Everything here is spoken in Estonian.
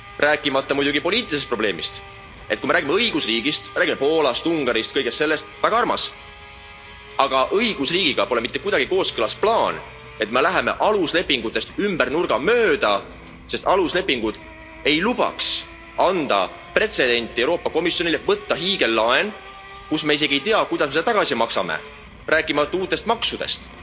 Rääkimata muidugi poliitilisest probleemist, et kui me räägime õigusriigist, siis me räägime Poolast, Ungarist kõigest sellest, väga armas, aga õigusriigiga pole mitte kuidagi kooskõlas plaan, et me läheme aluslepingutest ümber nurga mööda, sest aluslepingud ei lubaks anda Euroopa Komisjonile pretsedenti võtta hiigellaen, mille puhul me isegi ei tea, kuidas me selle tagasi maksame, rääkimata uutest maksudest.